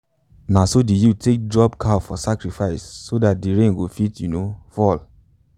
naso the youths take drop cow for sacrifice so dat rain go fit um fall.